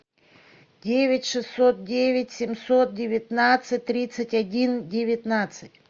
девять шестьсот девять семьсот девятнадцать тридцать один девятнадцать